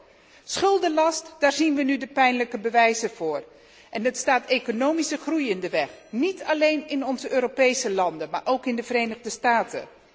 Een schuldenlast daar zien we nu de pijnlijke bewijzen van staat de economische groei in de weg, niet alleen in onze Europese landen, maar ook in de Verenigde Staten.